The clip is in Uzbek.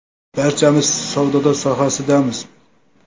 Barchamiz savdo sohasidamiz.